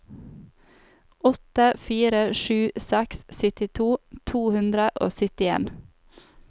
åtte fire sju seks syttito to hundre og syttien